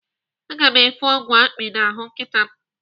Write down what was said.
Aga m efe ọgwụ akpị n'ahụ nkịta m.